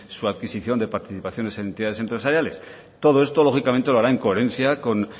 su adquisición de participaciones en entidades empresariales todo esto lógicamente lo hará en coherencia con